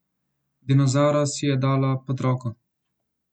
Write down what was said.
Dinozavra si je dala pod roko.